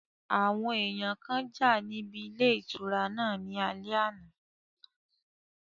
Àwọn èèyàn kan jà níbi ilé ìtura náà ní alẹ́ àná